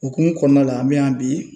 Okumu kɔɔna la an bɛ yan bi